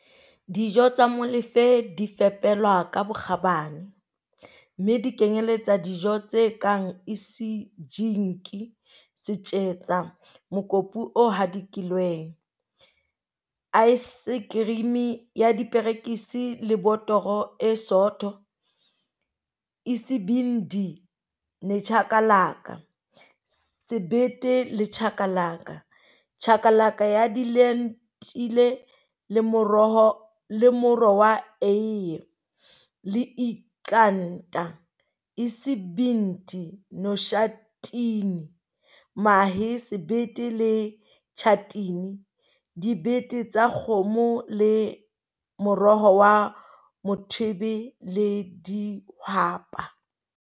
Dijo tsa Molefe di fepelwa ka bokgabane, mme di kenyeletsa dijo tse kang isijingi, setjetsa, mokopu o hadikilweng, aesekerimi ya diperekisi le botoro e sootho, isibindi nechakalaka, sebete le chakalaka, chakalaka ya dilentile le moro wa eie, le iqanda, Isibindi noshatini, mahe, sebete le tjhatini, dibete tsa kgoho le moro wa mothwebe le dihwapa.